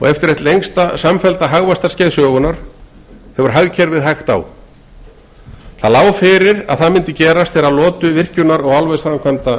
og eftir eitt lengsta samfellda hagvaxtarskeið sögunnar hefur hagkerfið hægt á það lá fyrir að það myndi gerast þegar lotu virkjunar og álversframkvæmda